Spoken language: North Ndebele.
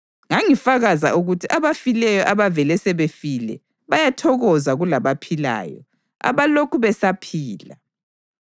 Ngangifakaza ukuthi abafileyo, abavele sebefile, bayathokoza kulabaphilayo, abalokhu besaphila.